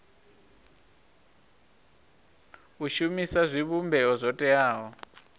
u shumisa zwivhumbeo zwo teaho